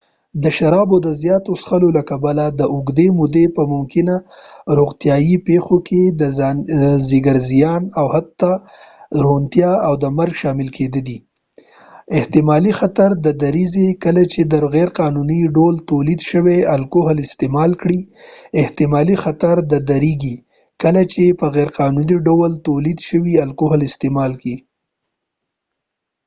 د شرابو د زياتو څښلو له کبله د اوږدې مودې په ممکنه روغتیایی پیښو کې د ځيګر زیان او حتی ړوندتیا او مرګ شامل کيدې شي. احتمالي خطر ډیريږي کله چې په غیرقانوني ډول تولید شوي الکوهل استعمال کړئ.احتمالي خطر ډیريږي کله چې په غیرقانوني ډول تولید شوي الکوهل استعمال کړئ